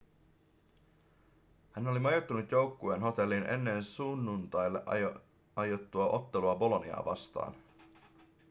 hän oli majoittunut joukkueen hotelliin ennen sunnuntaille aiottua ottelua boloniaa vastaan